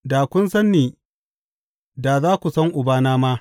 Da kun san ni, da za ku san Ubana ma.